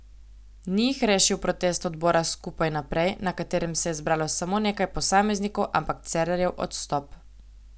Ni jih rešil protest odbora Skupaj naprej, na katerem se je zbralo samo nekaj posameznikov, ampak Cerarjev odstop.